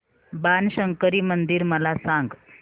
बाणशंकरी मंदिर मला सांग